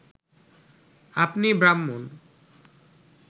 আপনি ব্রাহ্মণ